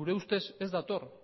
gure ustez ez dator